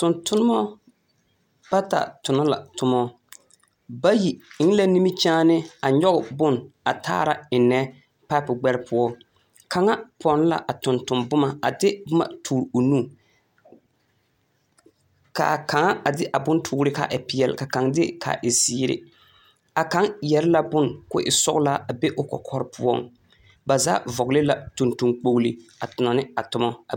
Tontoma bata tonɔ la tomɔ. Bayi eŋe la nimikyaane a nyɔge bone a taara ennɛ a paepo gbɛre poɔ. Kaŋa pɔnn la a tontomboma a de boma toore o nu. Ka a kaŋa a de a bontoore ka a e peɛle ka kaŋ de kaa e zeere. A kaŋ yɛre la bone ko e sɔgelaa a be o kɔkɔre poɔŋ. Ba zaa vɔgle la tontoŋ kpogli a tonɔ ne a toma.